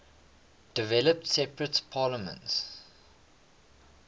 developed separate parliaments